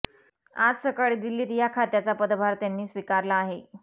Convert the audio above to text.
आज सकाळी दिल्लीत या खात्याचा पदभार त्यांनी स्वीकारला आहे